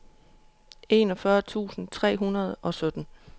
enogfyrre tusind tre hundrede og sytten